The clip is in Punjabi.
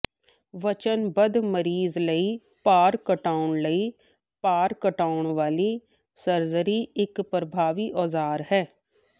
ਵਚਨਬੱਧ ਮਰੀਜ਼ ਲਈ ਭਾਰ ਘਟਾਉਣ ਲਈ ਭਾਰ ਘਟਾਉਣ ਵਾਲੀ ਸਰਜਰੀ ਇਕ ਪ੍ਰਭਾਵੀ ਔਜ਼ਾਰ ਹੈ